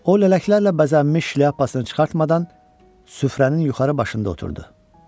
O lələklərlə bəzənmiş şlyapasını çıxartmadan süfrənin yuxarı başında oturdu.